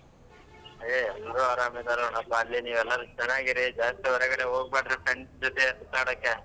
ಏ ಎಲ್ರು ಆರಾಮ್ ನೋಡ್ ಪ ಅಲ್ಲಿ ನೀವ್ ಎಲ್ಲರೂ ಚೆನ್ನಾಗಿ ಇರಿ ಜಾಸ್ತಿ ಹೊರಗಡೆ ಹೋಗಬೇಡ್ರಿ friends ಜೊತೆ ಸುತ್ತಾಡಕ್ಕೆ.